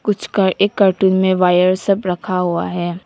कुछ का एक कार्टून में वायर सब रखा हुआ है।